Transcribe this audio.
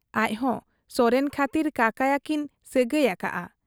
ᱟᱡᱦᱚᱸ ᱥᱚᱨᱮᱱ ᱠᱷᱟᱹᱛᱤᱨ ᱠᱟᱠᱟᱭᱟᱠᱤᱱ ᱥᱟᱹᱜᱟᱹᱭ ᱟᱠᱟᱜ ᱟ ᱾